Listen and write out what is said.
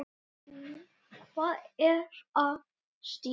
Hvað er að Stína?